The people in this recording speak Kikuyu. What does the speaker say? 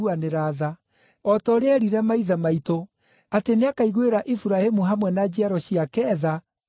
o ta ũrĩa eerire maithe maitũ, atĩ nĩakaiguĩra Iburahĩmu hamwe na njiaro ciake tha, nginya tene.”